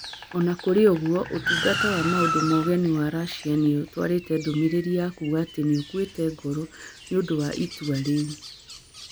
O na kũrĩ ũguo, Ũtungata wa Maũndũ ma Ũgeni wa Russia nĩ ũtwarĩte ndũmĩrĩri ya kuga atĩ nĩ ĩkuĩte ngoro nĩ ũndũ wa itua rĩu.